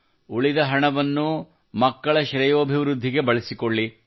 ಉಳಿದ ಹಣವನ್ನು ಮಕ್ಕಳ ಶ್ರೇಯೋಭಿವೃದ್ಧಿಗೆ ಬಳಸಿಕೊಳ್ಳಿ